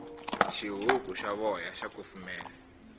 xihuku xa voya xa kufumela